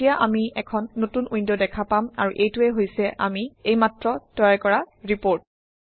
এতিয়া আমি এখন নতুন উইণ্ড দেখা পাম আৰু এইটোৱেই হৈছে আমি এইমাত্ৰ তৈয়াৰ কৰা ৰিপৰ্ট